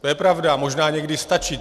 To je pravda, možná někdy stačí.